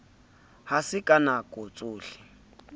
ha se ka nako tsohle